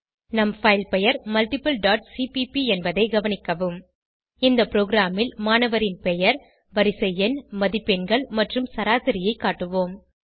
நம் பைல் பெயர் multipleசிபிபி என்பதை கவனிக்கவும் இந்த ப்ரோகிராமில் மாணவரின் பெயர் வரிசை எண் மதிப்பெண்கள் மற்றும் சராசரியைக் காட்டுவோம்